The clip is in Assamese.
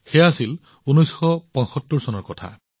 সেয়া আছিল ১৯৭৫ চনৰ কথা